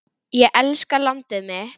Ég elska landið mitt.